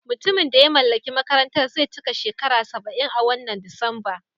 Mutumin da ya mallaki makarantar zai cika shekara saba'in a wannan Disamba.